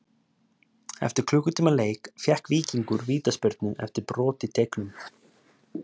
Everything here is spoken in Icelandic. Eftir klukkutíma leik fékk Víkingur vítaspyrnu eftir brot í teignum.